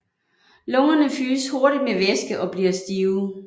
Lungerne fyldes hurtigt med væske og bliver stive